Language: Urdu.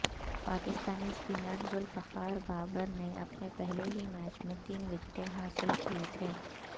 پاکستانی سپنر ذوالفقار بابر نے اپنے پہلے ہی میچ میں تین وکٹیں حاصل کی تھیں